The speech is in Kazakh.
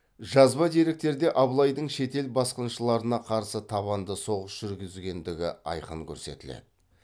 жазба деректерде абылайдың шетел басқыншыларына қарсы табанды соғыс жүргізгендігі айқын көрсетіледі